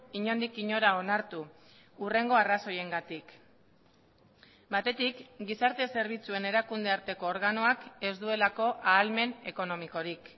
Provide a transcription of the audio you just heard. inondik inora onartu hurrengo arrazoiengatik batetik gizarte zerbitzuen erakunde arteko organoak ez duelako ahalmen ekonomikorik